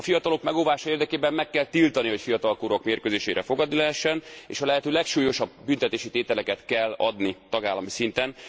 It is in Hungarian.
A fiatalok megóvása érdekében meg kell tiltani, hogy fiatalkorúak mérkőzésére fogadni lehessen. És a lehető legsúlyosabb büntetési tételeket kell adni tagállami szinten.